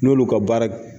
N'olu ka baara